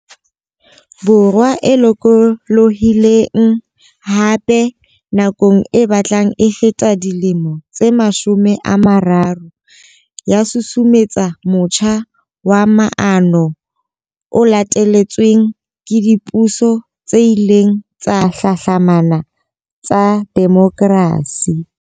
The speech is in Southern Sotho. Borwa e lokolohi leng, hape, nakong e batlang e feta dilemo tse mashome a mararo, ya susumetsa motjha wa maano o latetsweng ke dipuso tse ileng tsa hlahlamana tsa demokrasi.